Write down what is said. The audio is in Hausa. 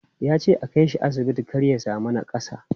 Ya ce a kai shi asibiti kar ya sami nakassa.